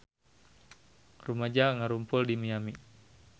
Rumaja ngarumpul di Miami